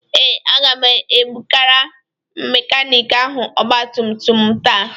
Ee. Aga m ebụgara mekaniki ahụ ọgba tum tum m taa.